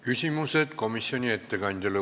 Küsimused komisjoni ettekandjale.